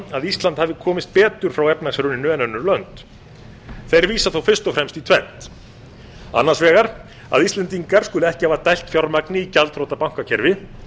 að ísland hafi komist betur frá efnahagshruninu en önnur lönd þeir vísa þó fyrst og fremst til tvenns annars vegar að íslendingar skuli ekki hafa dælt fjármagni í gjaldþrota bankakerfi